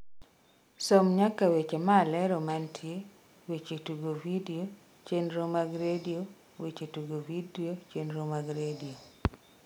som nyaka weche malero mantie weche tugo vidio chenro mag redio weche tugo vidio chenro mag redio